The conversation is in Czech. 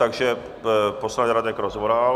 Takže poslanec Radek Rozvoral.